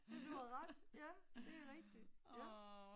Men du har ret ja, det er rigtigt, ja